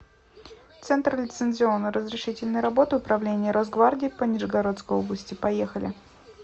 центр лицензионно разрешительной работы управления росгвардии по нижегородской области поехали